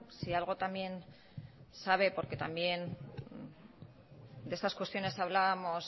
si algo también sabe porque también de estas cuestiones hablábamos